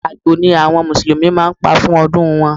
Àgbò ni àwọn musulumi máa ń pa fún ọdún wọn.